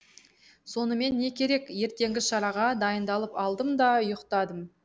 сонымен не керек ертеңгі шараға дайындалып алдым да ұйықтадым